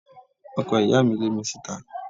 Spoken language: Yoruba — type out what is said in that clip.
Ọkọ ìyá mi lé mi síta